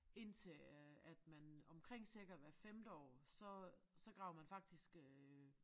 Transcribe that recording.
Indtil øh at man omkring cirka hvert femte år så så graver man faktisk øh